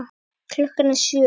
Klukkan er sjö!